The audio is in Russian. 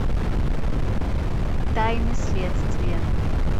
тайны следствия